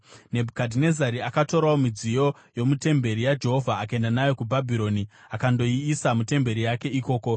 Nebhukadhinezari akatorawo midziyo yomutemberi yaJehovha akaenda nayo kuBhabhironi akandoiisa mutemberi yake ikoko.